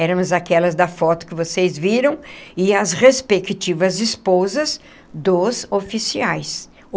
Eramos aquelas da foto que vocês viram e as respectivas esposas dos oficiais.